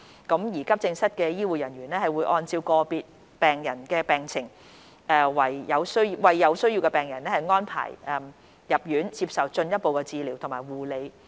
急症室的醫護人員會按照個別病人的病情為有需要的病人安排入院接受進一步治療和護理。